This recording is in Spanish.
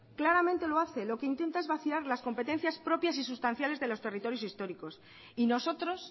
claramente lo hace lo que intenta es vaciar las competencias propias y sustanciales de los territorios históricos y nosotros